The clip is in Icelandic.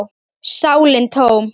sálin tóm.